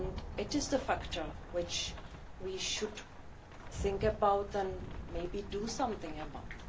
It is a factor which we should think about and maybe do something about.